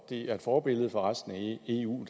det er forbillede for resten af eu og